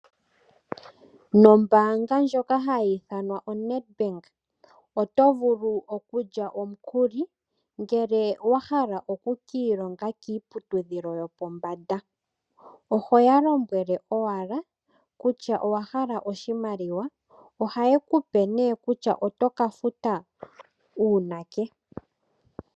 Nombaanga ndjoka hayi ithanwa oNedbank oto vulu okulya omukuli ngele owa hala oku ka ilonga kiiputudhilo yopombanda. Ohoya lombwele owala kutya owa hala oshimaliwa, ohaye kupe nee kutya oto ka futa uunake.